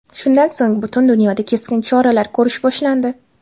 Shundan so‘ng butun dunyoda keskin choralar ko‘rish boshlandi .